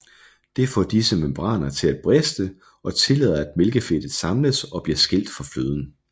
Det får disse membraner til at briste og tillader at mælkefedtet samles og bliver skilt fra fløden